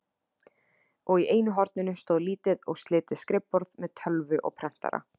Og í einu horninu stóð lítið og slitið skrifborð með tölvu og prentara.